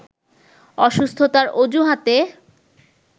অসুস্থতার অজুহাতে